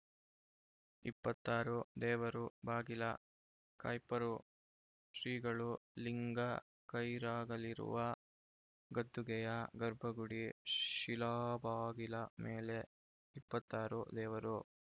ಇಪ್ಪತ್ತಾರು ದೇವರು ಬಾಗಿಲ ಕಾಯ್ಪರು ಶ್ರೀಗಳು ಲಿಂಗ ಕೈರಾಗಲಿರುವ ಗದ್ದುಗೆಯ ಗರ್ಭಗುಡಿ ಶಿಲಾಬಾಗಿಲ ಮೇಲೆ ಇಪ್ಪತ್ತಾರು ದೇವರು